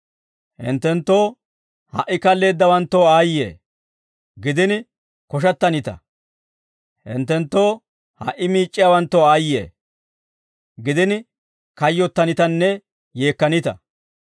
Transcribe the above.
Hinttenttoo ha"i kalleeddawanttoo aayye; gidini koshattanita; hinttenttoo ha"i miic'c'iyaawanttoo aayye; gidini kayyottanitanne yeekkanita.